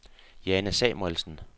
Jane Samuelsen